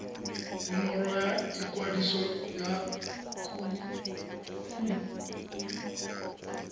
nomoro ya ikwadiso ya kumo